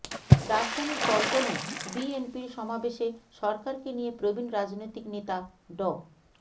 রাজধানীর পল্টনে বিএনপির সমাবেশে সরকারকে নিয়ে প্রবীন রাজনৈতিক নেতা ড